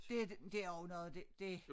Det det er jo noget det det